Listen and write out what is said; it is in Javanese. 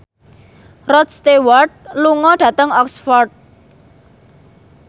Rod Stewart lunga dhateng Oxford